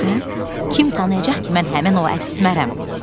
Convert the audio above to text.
Kim tanıyacaq ki mən həmin o Əsmərəm?